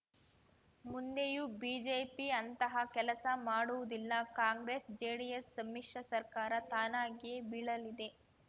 ಮುಂದೆಯೂ ಬಿಜೆಪಿ ಅಂತಹ ಕೆಲಸ ಮಾಡುವುದಿಲ್ಲ ಕಾಂಗ್ರೆಸ್‌ಜೆಡಿಎಸ್‌ ಸಮ್ಮಿಶ್ರ ಸರ್ಕಾರ ತಾನಾಗಿಯೇ ಬೀಳಲಿದೆ